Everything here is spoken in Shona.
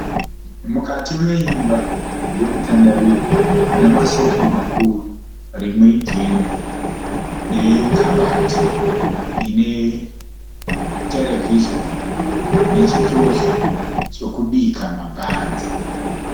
Mukati meimba yekutandarira. Mune masofa makuru rimwe ijena nekabati ine terevhizhoni nechitofu chekubika mabhanzi.